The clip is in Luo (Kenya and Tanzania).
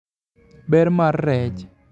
Ber mar rech